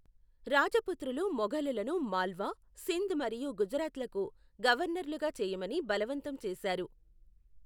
రాజపుత్రులు మొఘలులను మాల్వా, సింధ్ మరియు గుజరాత్లకు గవర్నర్లుగా చేయమని బలవంతం చేశారు.